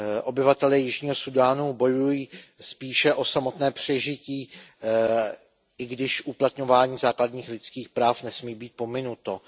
Obyvatelé Jižního Súdánu bojují spíše o samotné přežití, i když uplatňování základních lidských práv nesmí být pominuto.